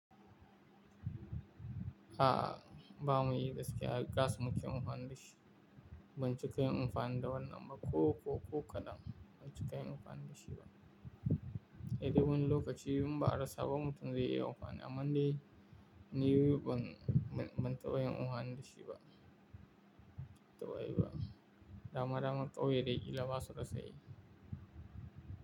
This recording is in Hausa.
A ba mayi gaske, har gas muke amfani da shi. Ban cika yin amfani da wannan ba ko, ko, ko kadan. Ban cika yin amfani da shi ba. Eh, duk wani lokaci in ba a rassa ba, mutum zai iya amfani amma dai ni ban, ban taɓa yin amfani da shi ba. Ban taɓa yi ba. Da dama dama kyawye dai kill basu rasa yi.